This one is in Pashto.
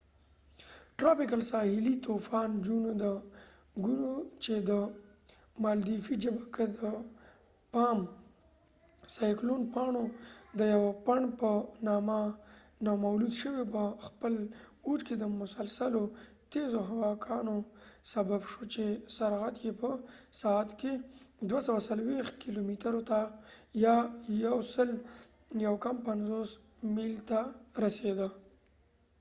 د ګونو gonuساحلی طوفان tropical cyclone چې د مالديفی ژبه ک د پام د پاڼو د یوه پنډ په نامه نومول شوي په خپل اوج کې د مسلسلو تیزو هواکانو سبب شو چې سرعت یې په ساعت کې 240 کېلو مترو یا 149 میل ته رسیده